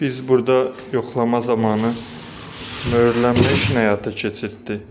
Biz burada yoxlama zamanı möhürlənmə həyata keçirtdik.